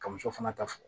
Ka muso fana ta fɔ